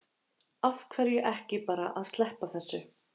Af hverju ekki bara að sleppa þessu?